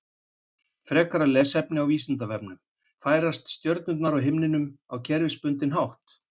Frekara lesefni á Vísindavefnum: Færast stjörnurnar á himninum á kerfisbundinn hátt?